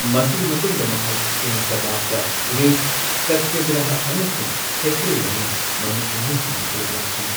ꯃꯁꯤꯒꯤ ꯃꯇꯨꯡꯗ ꯃꯍꯥꯛ ꯁꯤꯡ ꯁꯕꯥꯕ ꯗ ꯒ꯭ꯔꯦꯠ ꯁꯇ꯭ꯌꯒ꯭ꯔꯍꯥ ꯑꯃꯁꯨꯡ ꯊꯦꯀ꯭ꯔꯦ ꯌꯥꯎꯅ ꯃꯃꯤ ꯀꯨꯝꯍꯩꯁꯤꯡꯗ ꯁꯔꯨꯛ ꯌꯥꯈꯤ꯫